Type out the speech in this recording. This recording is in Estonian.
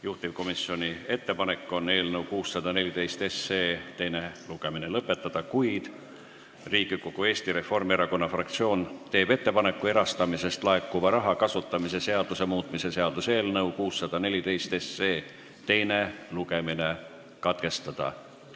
Juhtivkomisjoni ettepanek on eelnõu 614 teine lugemine lõpetada, kuid Riigikogu Eesti Reformierakonna fraktsioon teeb ettepaneku erastamisest laekuva raha kasutamise seaduse muutmise seaduse eelnõu 614 teine lugemine katkestada.